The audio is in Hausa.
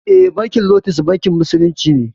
Eh bankin lotus bankin musulunci ne